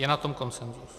Je na tom konsenzus.